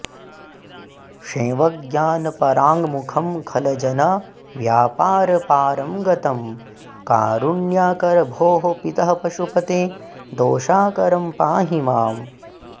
शैवज्ञानपराङ्गमुखं खलजनव्यापारपारं गतं कारुण्याकर भोः पितः पशुपते दोषाकरं पाहि माम्